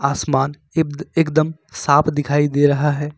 आसमान इब्द एकदम साफ दिखाई दे रहा है।